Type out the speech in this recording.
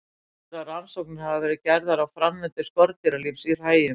Talsverðar rannsóknir hafa verið gerðar á framvindu skordýralífs í hræjum.